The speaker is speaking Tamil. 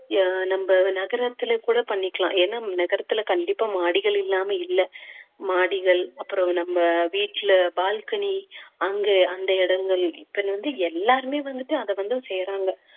அஹ் நம்ம நகரத்திலே கூட பண்ணிக்கலாம் ஏன்னா நகரத்திலே கண்டிப்பா மாடிகள் இல்லாம இல்ல மாடிகள் அப்புறம் நம்ம வீட்டிலே balcony அங்கே அந்த இடங்கள் இப்போ வந்து எல்லாருமே வந்துட்டு அத வந்து செய்யறாங்க